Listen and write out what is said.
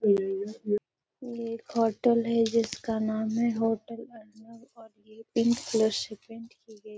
ये एक होटल है जिसका नाम है होटल अर्णव और ये पिंक कलर से पेंट की गई।